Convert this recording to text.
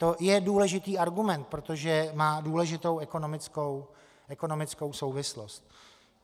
To je důležitý argument, protože má důležitou ekonomickou souvislost.